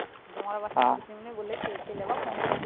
তোমার আবার সামনে বলেছে ছেলে আবার phone tone